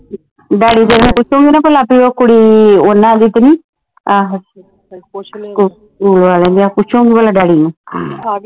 daddy ਤੇਰੇ ਨੂੰ ਪੁਸ਼ੂਗੀ ਨਾ ਪਲਾ ਉਹ ਕੁੜੀ ਓਹਨਾ ਦੀ ਤੇ ਨਹੀਂ ਆਹੋ ਸਕੂਲ ਵਾਲਿਆਂ ਦੀ ਆਹੋ ਪੁਸ਼ੂਗੀ ਪਲਾ ਡੈਡੀ ਨੂੰ